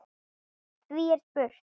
Því er spurt